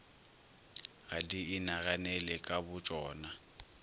ga di inaganele ka botšona